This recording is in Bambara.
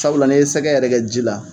Sabula n' i ye sɛgɛ yɛrɛ kɛ ji la.